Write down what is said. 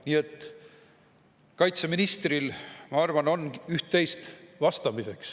Nii et kaitseministril on, ma arvan, üht-teist vastata.